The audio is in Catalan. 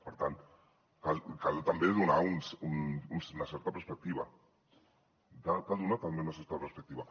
per tant cal també donar una certa perspectiva cal donar també una certa perspectiva